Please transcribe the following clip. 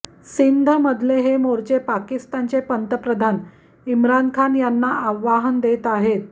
सिंधमधले हे मोर्चे पाकिस्तानचे पंतप्रधान इम्रान खान यांना आव्हान देत आहेत